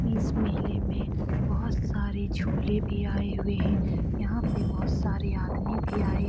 इस मेले में बहुत सारे झूले भी आए हुए हैं। यहाँ पे बहुत सारे आदमी भी आए --